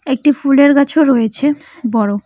একটি ফুলের গাছও রয়েছে বড়।